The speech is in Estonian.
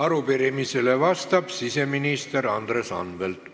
Arupärimisele vastab siseminister Andres Anvelt.